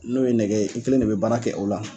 N'o ye nɛgɛ ye, i kelen de bɛ baara kɛ o la.